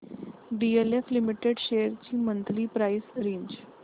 DLF limited shares ची monthly price range